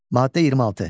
Maddə 26.